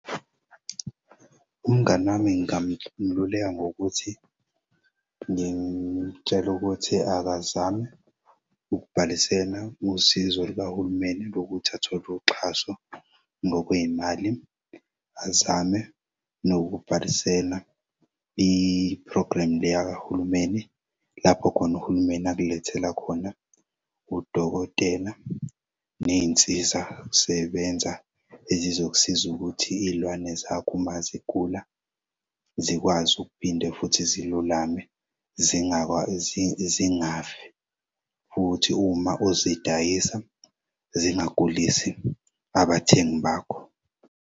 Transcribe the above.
Umngani wami ngingamululeka ngokuthi ngimtshele ukuthi akazame ukubhalisela usizo lukahulumeni lokuthi athole uxhaso ngokwey'mali, azame nokubhalisela i-program leyaka hulumeni lapho khona uhulumeni akulethela khona udokotela ney'nsiza sebenza ezizokusiza ukuthi iy'lwane zakho uma zigula zikwazi ukuphinde futhi zilulame zingafi futhi uma uzidayisa zingagulisi abathengi bakho.